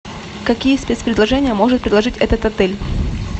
какие спецпредложения может предложить этот отель